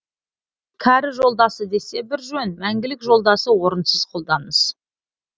кәрі жолдасы десе бір жөн мәңгілік жолдасы орынсыз қолданыс